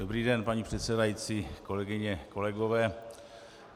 Dobrý den, paní předsedající, kolegyně, kolegové.